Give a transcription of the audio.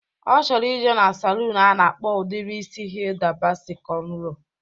Ọ chọrọ ije na saluun a na-akpa udiri isi Hida Basi kọnro